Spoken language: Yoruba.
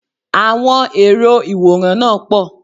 Àwọn èrò ìwòran náà pọ̀